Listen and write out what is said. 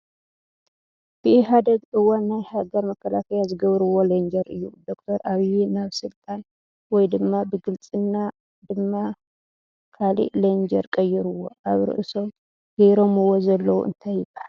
ብኢሃደግ እዋን ናይ ሃገር መከላከያ ዝግብርዎ ለንጀር እዮ ። ዶ/ር ኣቢይ ናብ ስልጣን ወይ ድማ ብልግፅና ድማ ካሊእ ለንጀር ቀይርዎ ። ኣብ ርእሶም ገይሮምዎ ዘለው እንታይ ይባሃል ?